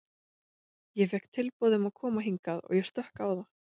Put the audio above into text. Ég fékk tilboð um að koma hingað og ég stökk á það.